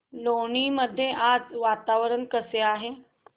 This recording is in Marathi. लोणी मध्ये आज वातावरण कसे आहे